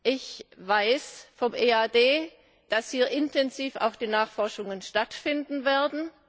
Ich weiß vom EAD, dass hier intensive Nachforschungen stattfinden werden.